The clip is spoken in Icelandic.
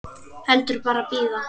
Heldur bara bíða.